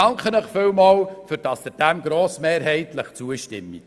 Ich danke Ihnen vielmals, dass Sie dem grossmehrheitlich zustimmen.